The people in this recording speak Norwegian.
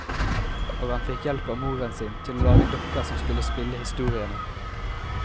Og han fikk hjelp av moren sin til å lage dukker som skulle spille historiene.